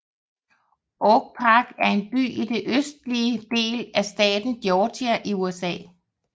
Oak Park er en by i den østlige del af staten Georgia i USA